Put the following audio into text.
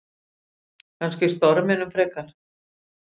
Kannski storminum frekar.